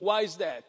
Why is that?